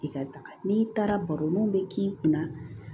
I ka taga n'i taara baro ni mun bɛ k'i kunna